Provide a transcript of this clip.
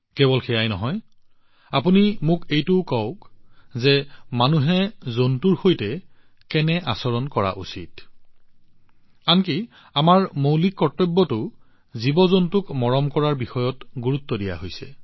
কেৱল এয়াই নহয় আপোনালোকে মোক এইটোও কওক মানুহে জন্তুৰ সৈতে কেনে আচৰণ কৰা উচিত আনকি আমাৰ মৌলিক কৰ্তব্যবোৰতো জীৱজন্তুৰ প্ৰতি সন্মানৰ ওপৰত গুৰুত্ব দিয়া হৈছে